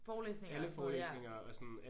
Forelæsninger og sådan noget ja